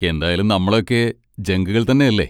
എന്തായാലും നമ്മളൊക്കെ ജങ്കുകൾ തന്നെ അല്ലേ?